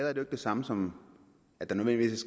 er det samme som at der nødvendigvis